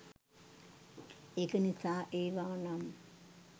ඒක නිසා ඒවා නම්